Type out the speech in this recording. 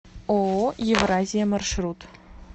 ооо евразия маршрут